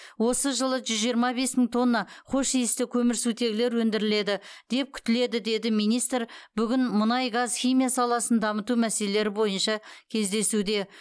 осы жылы жүз жиырма бес мың тонна хош иісті көмірсутегілер өндіріледі деп күтіледі деді министр бүгін мұнай газ химия саласын дамыту мәселелері бойынша кездесуде